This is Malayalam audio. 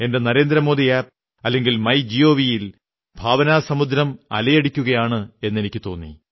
എന്റെ നരേന്ദ്രമോദി ആപ് അതല്ലെങ്കിൽ മൈ ഗവ് ൽ ഭാവനാസമുദ്രം അലയടിക്കയാണെന്നു തോന്നി